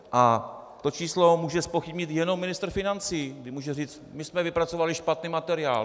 A to číslo může zpochybnit jenom ministr financí, kdy může říct: My jsme vypracovali špatný materiál.